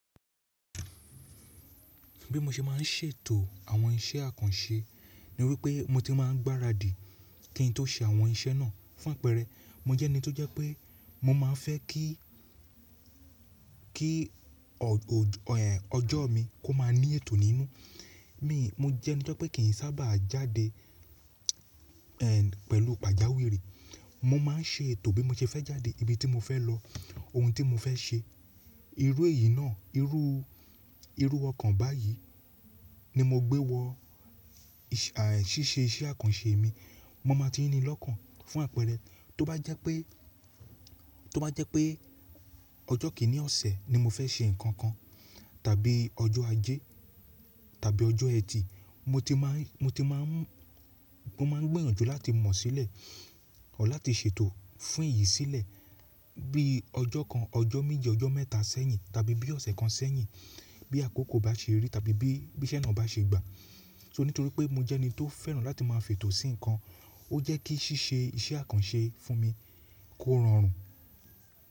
Bí mo ṣe má n ṣètò àwọn iṣẹ́ àkànṣe ni wípé mo ti má n gbaradi kí n tó ṣe àwọn iṣẹ́ náà fún àpẹrẹ. Mo jẹ́ ẹni tó jẹ́ pé mo má a fẹ́ kí, kí ọjọ́ mi kó má a ní ètò nínú. Mi mo jẹ́ ẹni tó pé kì í sábà jáde pẹ̀lú pàjáwìrì. Mo má n ṣètò bí mo ṣe fẹ́ jáde, ibi tí mo fẹ́ lọ, ohun tí mo fẹ́ ṣe. Irú èyí náà, irú, irú ọkàn báyìí ni mo gbé wọ ṣíṣe iṣẹ́ àkànṣe mi. Mo má a ti ní lọ́kàn fún àpẹrẹ. Tó bá jẹ́ pé, tó bá jẹ́ pé ọjọ́ kìíní ọ̀sẹ̀ ni mo fẹ́ ṣe nǹkan kan, tàbí ọjọ́ ajẹ́ tàbí ọjọ́ ẹtì, mo ti má n, mo ti má n, mo má n gbẹ́ràn jù láti mọ̀ sílẹ̀, à láti ṣètò fún èyí sílẹ̀ bí ọjọ́ kan, ọjọ́ méje, ọjọ́ mẹ́ta sẹ́yìn tàbí bí ọ̀sẹ̀ kan sẹ́yìn bí àkókò bá ṣe rí tàbí bí, bí iṣẹ́ náà bá ṣe gbà. So nítorí pé mo jẹ́ ẹni tó fẹ́ràn láti má a fètò sí nǹkan, ó jẹ́ kí ṣíṣe iṣẹ́ àkànṣe fún mi kó rọrùn.